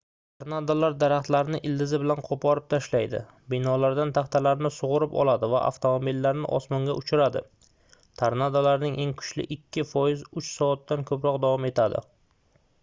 tornadolar daraxtlarni ildizi bilan qoʻporib tashlaydi binolardan taxtalarni sugʻurib oladi va avtomobillarni osmonga uchiradi tornadolarning eng kuchli ikki foizi uch soatdan koʻproq davom etadi